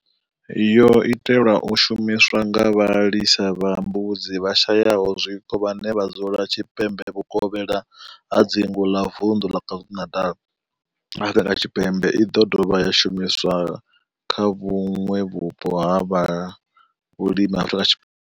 Yo itelwa u shumiswa nga vhalisa vha mbudzi vhashayaho zwiko vhane vha dzula tshipembe vhukovhela ha dzingu ḽa Vundu ḽa KwaZulu-Natal, Afrika Tshipembe i ḓo dovha ya shumiswa kha vhuṋwe vhupo ha vhulimi ha Afrika.